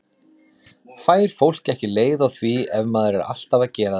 Fær fólk ekki leið á því ef maður er alltaf að gera þetta?